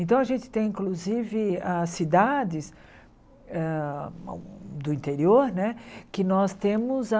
Então, a gente tem, inclusive, as cidades hã do interior né, que nós temos a...